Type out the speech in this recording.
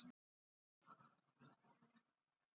Fyrirliðinn í Fram fær þetta Besti íþróttafréttamaðurinn?